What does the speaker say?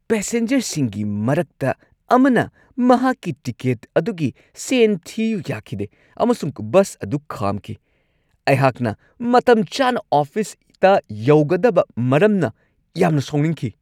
ꯄꯦꯁꯦꯟꯖꯔꯁꯤꯡꯒꯤ ꯃꯔꯛꯇ ꯑꯃꯅ ꯃꯍꯥꯛꯀꯤ ꯇꯤꯀꯦꯠ ꯑꯗꯨꯒꯤ ꯁꯦꯟ ꯊꯤꯌꯨ ꯌꯥꯈꯤꯗꯦ, ꯑꯃꯁꯨꯡ ꯕꯁ ꯑꯗꯨ ꯈꯥꯝꯈꯤ ꯫ ꯑꯩꯍꯥꯛꯅ ꯃꯇꯝꯆꯥꯅ ꯑꯣꯐꯤꯁꯇ ꯌꯧꯒꯗꯕ ꯃꯔꯝꯅ ꯌꯥꯝꯅ ꯁꯥꯎꯅꯤꯡꯈꯤ ꯫